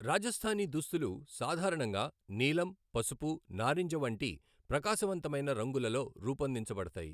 రాజస్థానీ దుస్తులు సాధారణంగా నీలం, పసుపు, నారింజ వంటి ప్రకాశవంతమైన రంగులలో రూపొందించబడతాయి.